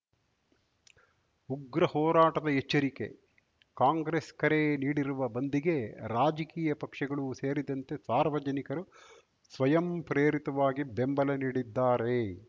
ಉಗ್ರ ಹೋರಾಟದ ಎಚ್ಚರಿಕೆ ಕಾಂಗ್ರೆಸ್‌ ಕರೆ ನೀಡಿರುವ ಬಂದ್‌ಗೆ ರಾಜಕೀಯ ಪಕ್ಷಗಳು ಸೇರಿದಂತೆ ಸಾರ್ವಜನಿಕರು ಸ್ವಯಂ ಪ್ರೇರಿತವಾಗಿ ಬೆಂಬಲ ನೀಡಿದ್ದಾರೆ